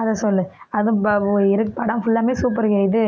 அதை சொல்லு அதை படம் full ஆமே super ங்க இது